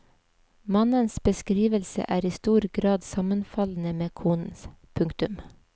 Mannens beskrivelse er i stor grad sammenfallende med konens. punktum